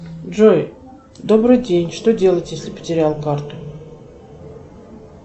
джой добрый день что делать если потерял карту